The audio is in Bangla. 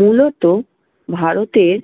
মূলত ভারতের